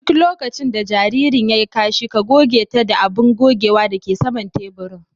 Duk lokacin da jaririn ya yi kashi ,ka goge ta da abun gogewa da ke saman taburin.